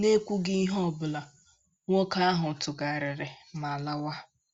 N’ekwughị ihe ọ bụla, nwoke ahụ tụgharịrị ma lawa.